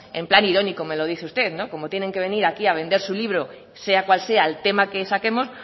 en plan irónico me lo dice usted no como tienen que venir aquí a vender su libro sea cual sea el tema que saquemos